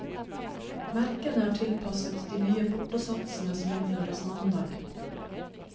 Merkene er tilpasset de nye portosatsene som innføres mandag.